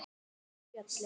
Fyrir föllin